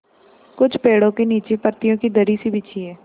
कुछ पेड़ो के नीचे पतियो की दरी सी बिछी है